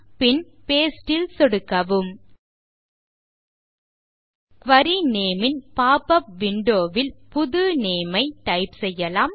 பின் paste ல் சொடுக்கவும் query name ன் போப்பப் விண்டோ ல் புது நேம் ஐ டைப் செய்யலாம்